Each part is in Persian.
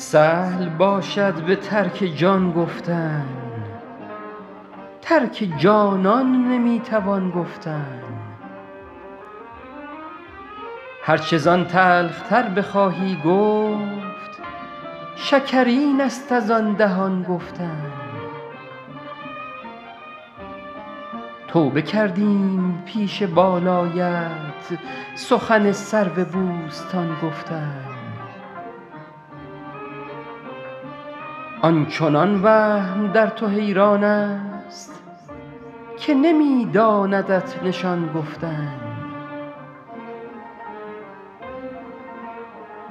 سهل باشد به ترک جان گفتن ترک جانان نمی توان گفتن هر چه زان تلخ تر بخواهی گفت شکرین است از آن دهان گفتن توبه کردیم پیش بالایت سخن سرو بوستان گفتن آن چنان وهم در تو حیران است که نمی داندت نشان گفتن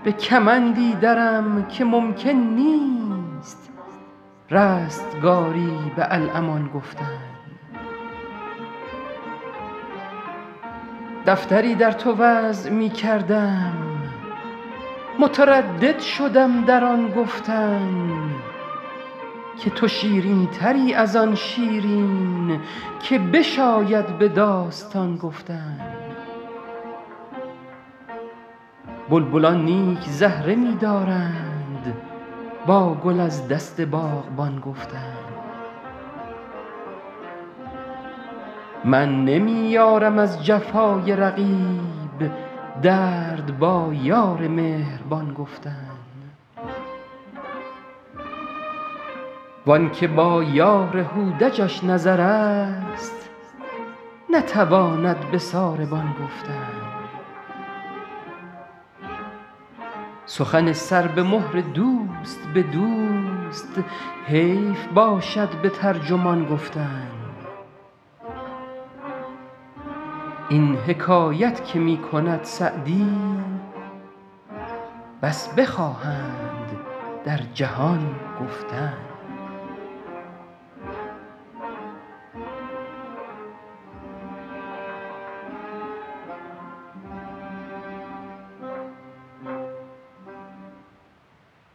به کمندی درم که ممکن نیست رستگاری به الامان گفتن دفتری در تو وضع می کردم متردد شدم در آن گفتن که تو شیرین تری از آن شیرین که بشاید به داستان گفتن بلبلان نیک زهره می دارند با گل از دست باغبان گفتن من نمی یارم از جفای رقیب درد با یار مهربان گفتن وان که با یار هودجش نظر است نتواند به ساربان گفتن سخن سر به مهر دوست به دوست حیف باشد به ترجمان گفتن این حکایت که می کند سعدی بس بخواهند در جهان گفتن